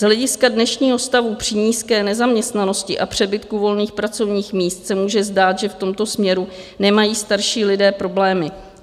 Z hlediska dnešního stavu při nízké nezaměstnanosti a přebytku volných pracovních míst se může zdát, že v tomto směru nemají starší lidé problémy.